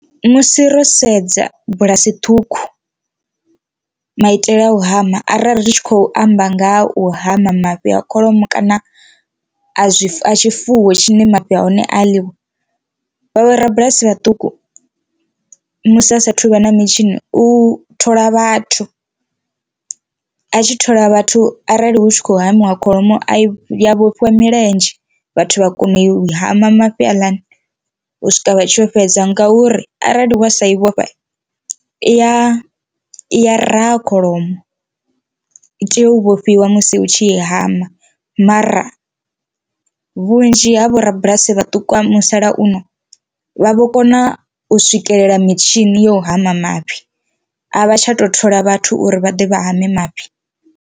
Musi ro sedza bulasi ṱhukhu maitele a u hama arali ri tshi khou amba nga u hama mafhi a kholomo kana a zwi tshifuwo tshine mafhi a hone a ḽiwa vhavho rabulasi vhaṱuku musi asathu vha na mitshini u thola vhathu, a tshi thola vhathu arali hu tshi khou hamiwa kholomo a i ya vhofhiwa milenzhe vhathu vha kono u hama mafhi aḽani u swika vha tshi yo fhedza ngauri arali wa sa i vhofha i ya iya raha kholomo i tea u vhofhiwa musi hu tshi i hama. Mara vhunzhi ha vho rabulasi vhaṱuku vha musalauno vha vho kona u swikelela mitshini yo u hama mafhi a vha tsha tou thola vhathu uri vha ḓe vha hama mafhi.